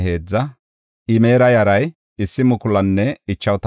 Keraasa yara, Siha yara, Fadoona yara,